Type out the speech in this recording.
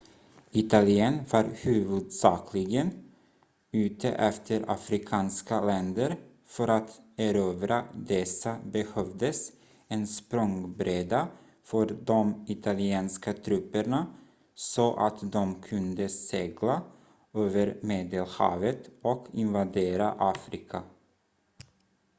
italien var huvudsakligen ute efter afrikanska länder för att erövra dessa behövdes en språngbräda för de italienska trupperna så att de kunde segla över medelhavet och invadera afrika